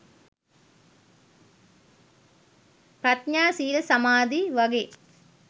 ප්‍රඥා සීල සමාධි වගේ